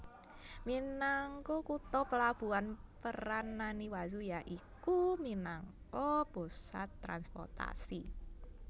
Minangka kutha pelabuhan peran Naniwazu ya iku minangka pusat transportasi